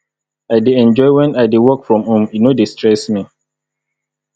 i dey enjoy wen i dey work from home e no dey stress me